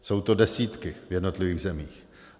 Jsou to desítky v jednotlivých zemích.